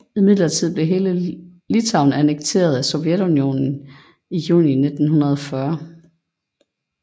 Imidlertid blev hele Litauen annekteret af Sovjetunionen i juni 1940